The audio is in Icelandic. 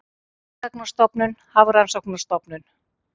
Námsgagnastofnun- Hafrannsóknastofnun.